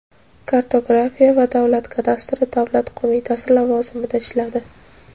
kartografiya va davlat kadastri davlat qo‘mitasi lavozimida ishladi.